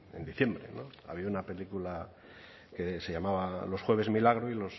en diciembre había una película que se llamaba los jueves milagro y